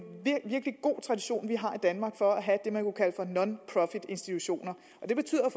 virkelig god tradition for at have det man kunne kalde for nonprofitinstitutioner og det betyder